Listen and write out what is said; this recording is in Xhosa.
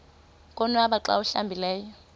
konwaba xa awuhlambileyo